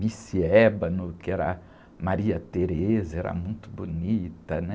Miss Ébano, que era, era muito bonita, né?